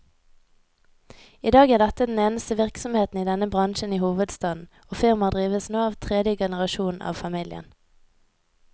I dag er dette den eneste virksomheten i denne bransjen i hovedstaden, og firmaet drives nå av tredje generasjon av familien.